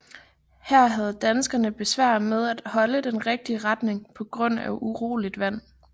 Her havde danskerne besvær med at holde den rigtige retning på grund af uroligt vand